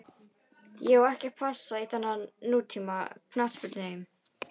Ég á passa ekki í þennan nútíma knattspyrnuheim.